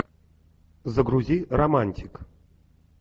загрузи романтик